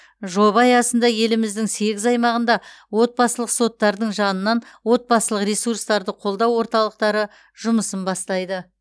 жоба аясында еліміздің сегіз аймағында отбасылық соттардың жанынан отбасылық ресурстарды қолдау орталықтары жұмысын бастайды